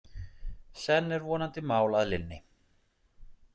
Senn er vonandi mál að linni.